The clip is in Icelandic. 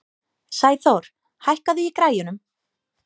Sæþór, hækkaðu í græjunum.